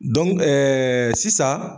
sisan